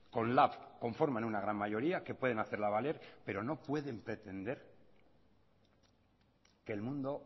con lab conforman una gran mayoría que pueden hacerla valer pero no pueden pretender que el mundo